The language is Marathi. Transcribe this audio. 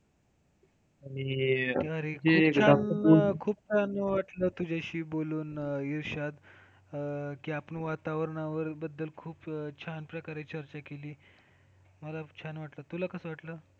आणि खूप छान वाटलं तुझ्याशी बोलून अं इर्शाद आणि आपण वातावरणा बद्दल खूप छान प्रकारे चर्चा केली. मला पण छान वाटलं तुला कसं वाटलं?